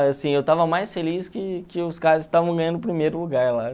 eu estava mais feliz que que os caras que estavam ganhando o primeiro lugar lá.